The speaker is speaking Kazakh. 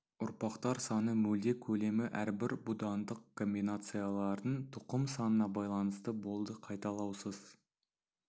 ұрпақтар саны мөлдек көлемі әрбір будандық комбинациялардың тұқым санына байланысты болды қайталаусыз